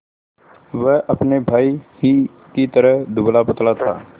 वह अपने भाई ही की तरह दुबलापतला था